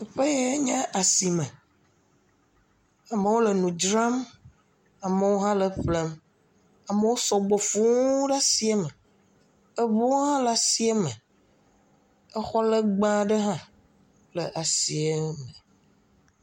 Teƒe yae nye asime. Amewo le nu dzram. Amewo hã le eƒlem. Amewo sɔgbɔ fũu ɖe asia me. Ŋuwo hã le asia me. Xɔ legbee aɖe hã le asia me.